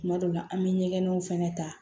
Kuma dɔ la an bɛ ɲɛgɛnw fɛnɛ ta